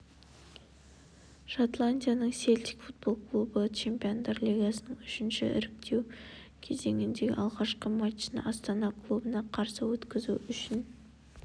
шотландияның селтик футбол клубы чемпиондар лигасының үшінші іріктеу кезеңіндегі алғашқы матчын астана клубына қарсы өткізу үшін